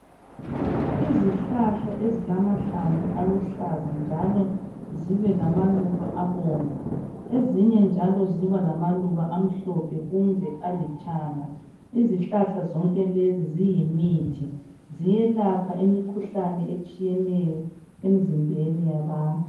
Izihlahla ezilamahlamvu aluhlaza njalo zibe lamaluba abomvu. Ezinye njalo ziba lamaluba amhlophe kumbe alithanga. Izihlahla zonke lezi ziyimithi. Ziyelapha imikhuhlane etshiyeneyo emzimbeni yabantu.